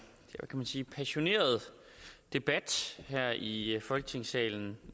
man sige passioneret debat her i folketingssalen